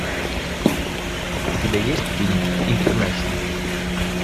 у тебя есть фильм интернешнл